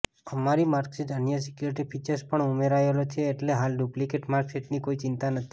અમારી માર્કશીટમાં અન્ય સિક્યુરીટી ફિચર્સ પણ ઉમેરાયેલા છે એટલે હાલ ડુપ્લીકેટ માર્કશીટની કોઈ ચિંતા નથી